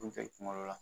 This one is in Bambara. Kuncɛ kuma dɔ la